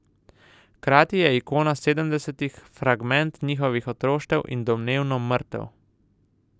Hkrati je ikona sedemdesetih, fragment njihovih otroštev, in domnevno mrtev.